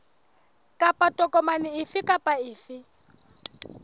kapa tokomane efe kapa efe